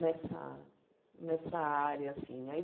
Nessa nessa área. Aí